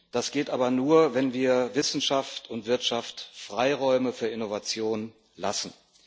Das geht aber nur, wenn wir Wissenschaft und Wirtschaft Freiräume für Innovationen lassen.